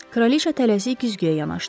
Kraliça tələsik güzgüyə yanaşdı.